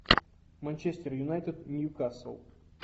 манчестер юнайтед ньюкасл